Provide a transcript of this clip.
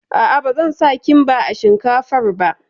A'a, ba zan sa Kimba a shinkafar ba